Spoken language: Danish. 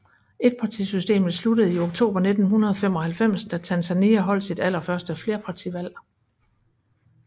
Etpartisystemet sluttede i oktober 1995 da Tanzania holdt sit allerførste flerpartivalg